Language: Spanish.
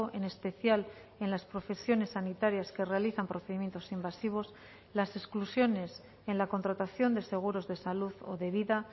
en especial en las profesiones sanitarias que realizan procedimientos invasivos las exclusiones en la contratación de seguros de salud o de vida